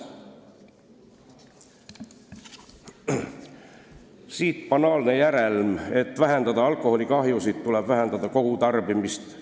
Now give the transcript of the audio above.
Siit banaalne järeldus: et vähendada alkoholikahjusid, tuleb vähendada kogutarbimist.